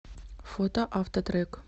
фото автотрек